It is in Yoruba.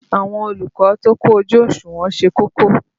Àwọn olùkọ́ tó kójú òṣùnwọ̀n ṣe kókó.